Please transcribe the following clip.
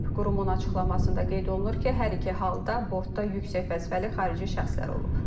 Qurumun açıqlamasında qeyd olunur ki, hər iki halda bortda yüksək vəzifəli xarici şəxslər olub.